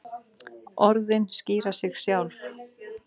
Orðin skýra sig sjálf.